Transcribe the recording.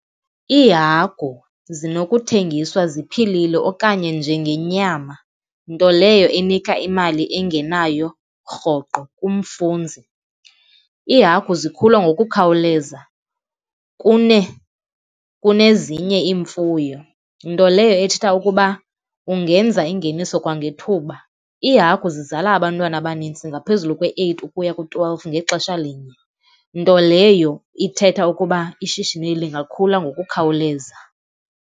Iihagu zinokuthengiswa ziphilile okanye njengenyama, nto leyo inika imali engenayo rhoqo kumfunzi. Iihagu zikhula ngokukhawuleza kunezinye iimfuyo, nto leyo ethetha ukuba ungenza ingeniso kwangethuba. Iihagu zizala abantwana abanintsi ngaphezulu kwe-eight ukuya ku-twelve ngexesha linye, nto leyo ithetha ukuba ishishini lingakhula ngokukhawuleza.